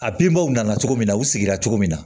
A binbaw nana cogo min na u sigira cogo min na